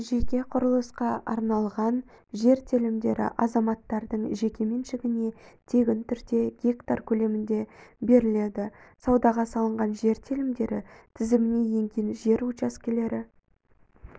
жеке құрылысқа арналған жер телімдері азаматтарының жеке меншігіне тегін түрде гектар көлемінде беріледі саудаға салынған жер телімдері тізіміне енген жер учаскелері